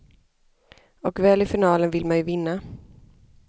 Och väl i finalen vill man ju vinna.